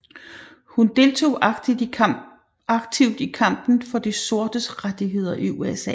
Hun deltog aktivt i kampen for de sortes rettigheder i USA